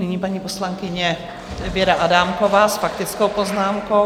Nyní paní poslankyně Věra Adámková s faktickou poznámkou.